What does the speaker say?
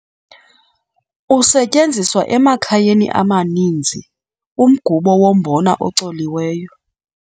Usetyenziswa emakhayeni amaninzi umgubo wombona ocoliweyo.